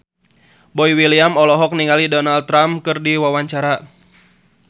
Boy William olohok ningali Donald Trump keur diwawancara